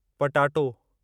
potato